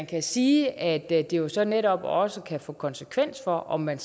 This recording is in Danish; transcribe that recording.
kan sige at det jo så netop også kan få konsekvens for om man